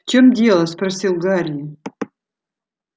в чём дело спросил гарри